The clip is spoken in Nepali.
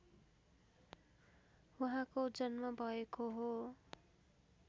उहाँको जन्म भएको हो